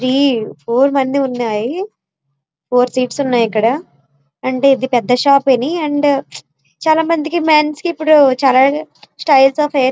four four seats ఉన్నాయి ఇక్కడ and పెద్ద షాప్ ఇది అండ్ చాలామందికి మెన్స్ కి ఇప్పుడు చాలా స్టైల్స్ ఆఫ్ హెయిర్ --